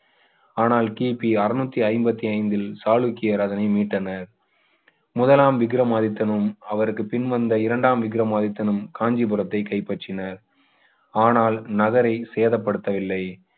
ஆனால் கிபி அறுநூற்று ஐம்பது ஐந்தில் சாளுக்கியர் அதனை மீட்டனர் முதலாம் விக்ரமாதித்தனும் அவருக்கு பின் வந்த இரண்டாம் விக்ரமாதித்தனும் காஞ்சிபுரத்தை கைப்பற்றினர் ஆனால் நகரை சேதப்படுத்தவில்லை